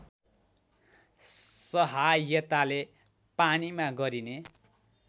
सहायताले पानीमा गरिने